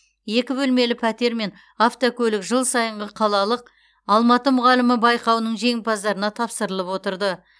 екі бөлмелі пәтер мен автокөлік жыл сайынғы қалалық алматы мұғалімі байқауының жеңімпаздарына тапсырылып отырды